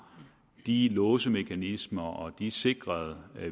de låsemekanismer og de sikrede